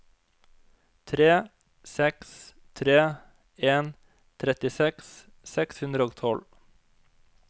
tre seks tre en trettiseks seks hundre og tolv